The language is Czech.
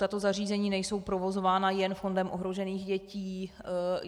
Tato zařízení nejsou provozována jen Fondem ohrožených dětí.